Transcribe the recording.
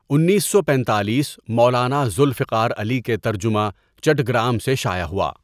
انیس سو پینتالیس مولانا ذوالفقار علی کے ترجمہ، چٹّگرام سے شائع ہوا.